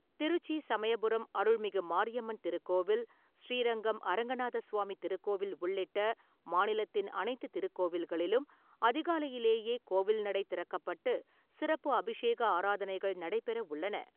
திருச்சி சமயபுரம் அருள்மிகு மாரியம்மன் திருக்கோவில், ஸ்ரீரங்கம் அரங்கநாத சுவாமி திருக்கோவில் உள்ளிட்ட மாநிலத்தின் அனைத்து திருக்கோவில்களிலும் அதிகாலையிலேயே கோவில்நடை திறக்கப்பட்டு, சிறப்பு அபிஷேக ஆராதனைகள் நடைபெற உள்ளன.